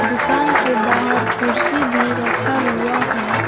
दुकान के बाहर कुर्सी भी रखा हुआ है।